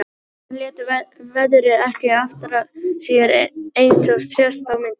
Strákarnir létu veðrið ekki aftra sér eins og sést á myndunum.